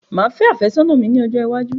Máa fé afẹ́ sónà mi ní ọjọ́ iwájú